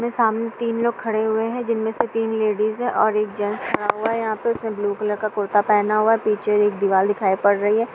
सामने तीन लोग खड़े हुए हैं जिनमें से तीन लेडीज है और एक जेन्ट्स खड़ा हुआ है। उसने ब्लू कलर का कुर्ता पहना हुआ है। पीछे एक दीवार दिखाई पड़ रही है।